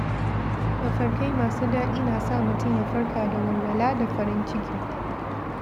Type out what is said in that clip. Mafarkai masu daɗi na sa mutum ya farka da walwala da farin ciki.